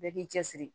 Bɛɛ k'i cɛ siri